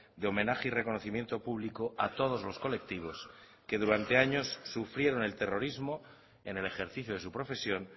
de homenaje y reconocimiento público a todos los colectivos que durante años sufrieron el terrorismo en el ejercicio de su profesión